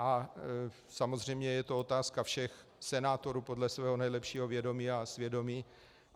A samozřejmě je to otázka všech senátorů podle svého nejlepšího vědomí a svědomí.